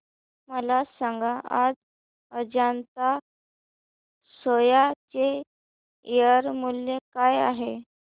मला सांगा आज अजंता सोया चे शेअर मूल्य काय आहे